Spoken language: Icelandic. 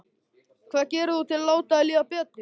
Hvað gerir þú til að láta þér líða betur?